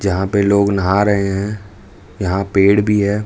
यहां पे लोग नहा रहे हैं यहां पेड़ भी है।